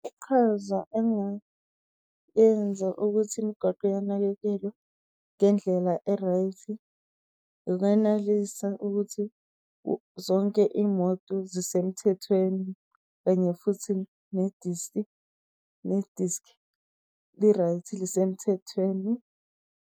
Iqhaza engayenza ukuthi imigwaqo iyanakekelwa ngendlela e-right , ukuthi zonke imoto zisemthethweni. Kanye futhi ne-disc li-right lisemthethweni.